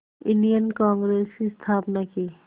Indian Congress की स्थापना की